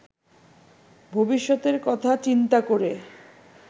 ভবিষ্যতের কথা চিন্তা করে